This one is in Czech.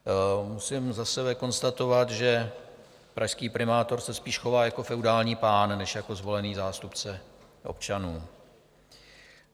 Musím za sebe konstatovat, že pražský primátor se spíš chová jako feudální pán než jako zvolený zástupce občanů.